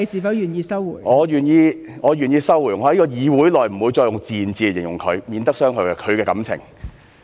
我願意收回，我在這個議會內，不會再用"賤"字來形容他，免得傷害他的感情 ，OK？